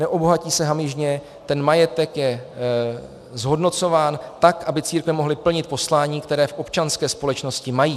Neobohatí se hamižně, ten majetek je zhodnocován tak, aby církve mohly plnit poslání, které v občanské společnosti mají.